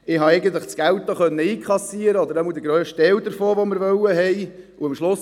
Ich habe das Geld, oder jedenfalls den grössten Teil dessen, was wir wollten, auch einkassieren können.